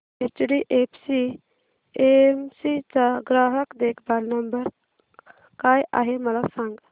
HDFC AMC चा ग्राहक देखभाल नंबर काय आहे मला सांग